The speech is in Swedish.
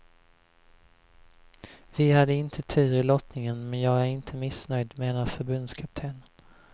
Vi hade inte tur i lottningen men jag är inte missnöjd, menar förbundskaptenen.